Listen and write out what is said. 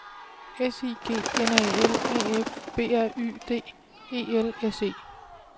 S I G N A L A F B R Y D E L S E